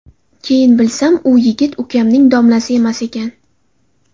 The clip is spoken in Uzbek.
Keyin bilsam, u yigit ukamning domlasi emas ekan.